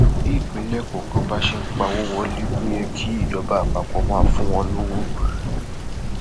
bí ìpínlẹ kọọkan bá ṣe ń pawọ wọlé ló yẹ kí ìjọba àpapọ máa fún wọn lọwọ